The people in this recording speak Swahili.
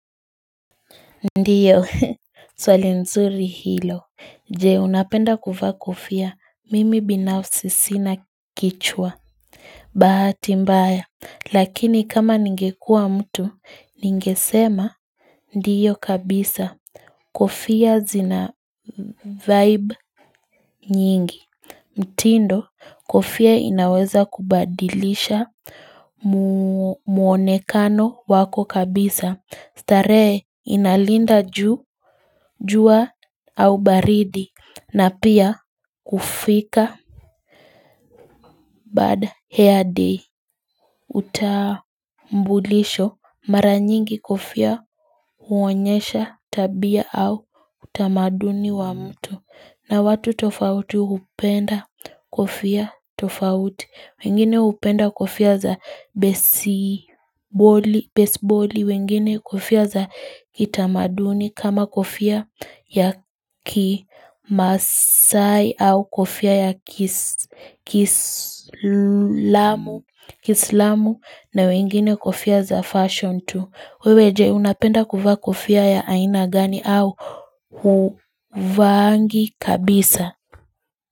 Ndiyo, swali nzuri hilo. Je, unapenda kuvaa kufia, mimi binafsi sina kichwa. Bahati mbaya, lakini kama ningekua mtu, ningesema. Ndiyo kabisa, kufia zina vibe nyingi. Mtindo, kofia inaweza kubadilisha muonekano wako kabisa. Starehe inalinda jua au baridi na pia kufika bad hair day utambulisho mara nyingi kofia huonyesha tabia au utamaduni wa mtu. Na watu tofauti hupenda kofia tofauti, wengine upenda kofia za besiboli, wengine kofia za kitamaduni kama kofia ya kimaasai au kofia ya kiislamu na wengine kofia za fashion tu. Wewe je, unapenda kuvaa kufia ya aina gani au hauvaangi kabisa.